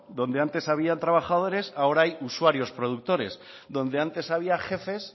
donde antes habían trabajadores ahora hay usuarios productores donde antes había jefes